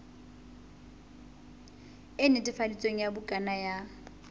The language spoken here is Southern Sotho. e netefaditsweng ya bukana ya